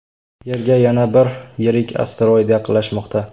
Yerga yana bir yirik asteroid yaqinlashmoqda.